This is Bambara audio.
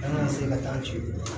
An ka se ka taa ten